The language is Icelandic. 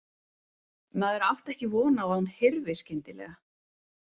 Maður átti ekki von á að hún hyrfi skyndilega.